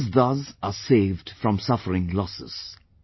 Farmers thus are saved from suffering losses